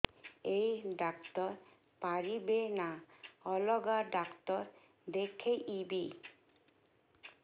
ଏଇ ଡ଼ାକ୍ତର ପାରିବେ ନା ଅଲଗା ଡ଼ାକ୍ତର ଦେଖେଇବି